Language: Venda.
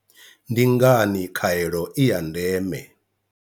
Ndi ngani khaelo i ya ndeme?